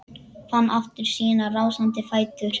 Fann aftur sína rásandi fætur.